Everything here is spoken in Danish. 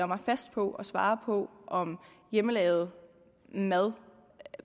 mig fast på at svare på om hjemmelavet mad